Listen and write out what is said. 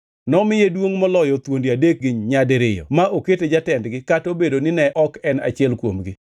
Nomiye duongʼ moloyo thuondi adekgi nyadiriyo ma okete jatendgi kata obedo nine ok en achiel kuomgi.